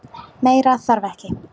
Meira þarf ekki.